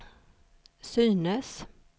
synes